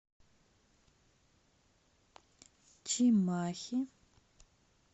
чимахи